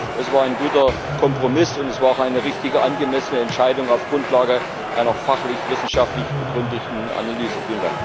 Es war ein guter Kompromiss, und es war auch eine richtige, angemessene Entscheidung auf Grundlage einer fachlich wissenschaftlich begründeten Analyse.